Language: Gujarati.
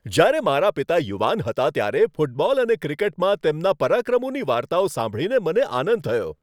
જ્યારે મારા પિતા યુવાન હતા, ત્યારે ફૂટબોલ અને ક્રિકેટમાં તેમના પરાક્રમોની વાર્તાઓ સાંભળીને મને આનંદ થયો.